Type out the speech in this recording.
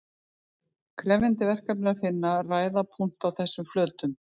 krefjandi verkefni er að finna ræða punkta á þessum flötum